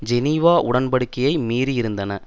Geneva உடன்படிக்கையை மீறியிருந்தன